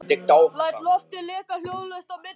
Læt loftið leka hljóðlaust út á milli varanna.